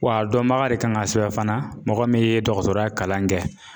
Wa a dɔnbaga de kan ka sɛbɛn fana mɔgɔ min ye dɔgɔtɔrɔya kalan in kɛ.